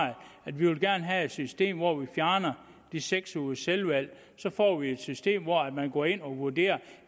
at vi gerne vil have et system hvor vi fjerner de seks ugers selvvalg så får vi et system hvor man går ind og vurderer